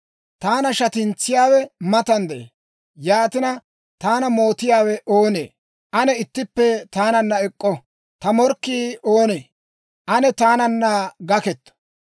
Taana shatintsiyaawe matan de'ee; yaatina, taana mootiyaawe oonee? Ane ittippe taananna ek'k'o! Ta morkkii oonee? Ane taananna gakketto!